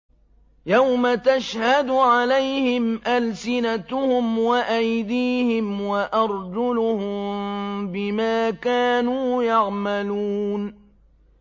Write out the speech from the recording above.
يَوْمَ تَشْهَدُ عَلَيْهِمْ أَلْسِنَتُهُمْ وَأَيْدِيهِمْ وَأَرْجُلُهُم بِمَا كَانُوا يَعْمَلُونَ